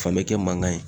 Fan mɛ kɛ mankan ye